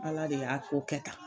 Ala de y'a ko kɛ tan